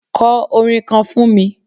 Kọ orin kan fún mi.